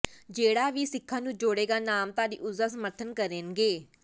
ਜਿਹੜਾ ਵੀ ਸਿੱਖਾਂ ਨੂੰ ਜੋੜੇਗਾ ਨਾਮਧਾਰੀ ਉਸਦਾ ਸਮਰਥਨ ਕਰਨਗੇ